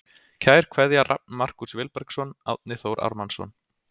Kær kveðja Rafn Markús Vilbergsson Árni Þór Ármannsson